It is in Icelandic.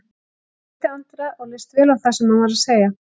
Ég hitti Andra og leist vel á það sem hann var að segja.